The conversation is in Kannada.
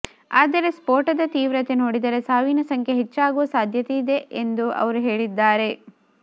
ಆದರೆ ಸ್ಫೋಟದ ತೀವ್ರತೆ ನೋಡಿದರೆ ಸಾವಿನ ಸಂಖ್ಯೆ ಹೆಚ್ಚಾಗುವ ಸಾಧ್ಯತೆಯಿದೆ ಎಂದು ಅವರು ಹೇಳಿದ್ದಾರೆ